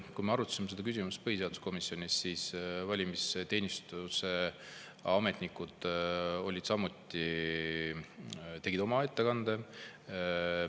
Kui me arutasime seda küsimust põhiseaduskomisjonis, siis valimisteenistuse ametnikud olid samuti kohal, tegid ettekande.